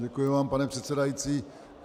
Děkuji vám, pane předsedající.